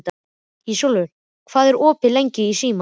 Ísólfur, hvað er opið lengi í Símanum?